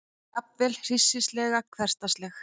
Jafnvel hryssingsleg, hversdagsleg.